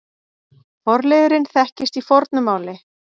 Forliðurinn þekkist í fornu máli.